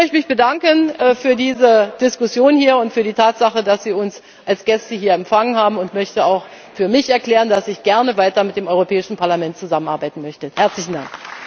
Ich möchte mich bedanken für diese Diskussion hier und für die Tatsache, dass Sie uns als Gäste hier empfangen haben, und möchte auch für mich erklären, dass ich gerne weiter mit dem Europäischen Parlament zusammenarbeiten möchte. Herzlichen Dank!